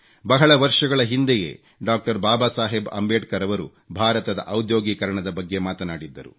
ಬಹಳ ವರ್ಷಗಳ ಹಿಂದೆಯೇ ಡಾಕ್ಟರ್ ಬಾಬಾ ಸಾಹೇಬ್ ಅಂಬೇಡ್ಕರ್ ರವರು ಭಾರತದ ಔದ್ಯೋಗೀಕರಣದ ಬಗ್ಗೆ ಮಾತನಾಡಿದ್ದರು